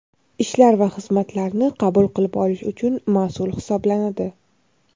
ishlar va xizmatlarni qabul qilib olish uchun mas’ul hisoblanadi.